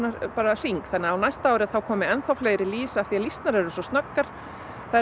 hring þannig á næst ári þá komi fleiri lýs af því lýsnar eru svo snöggar þær eru